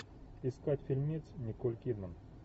искать фильмец николь кидман